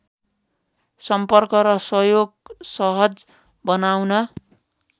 सम्पर्क र सहयोग सहज बनाउन